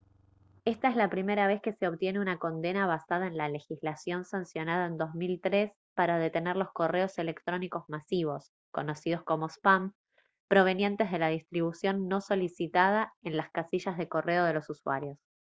esta es la primera vez que se obtiene una condena basada en la legislación sancionada en 2003 para detener los correos electrónicos masivos conocidos como spam provenientes de la distribución no solicitada en las casillas de correo de los usuarios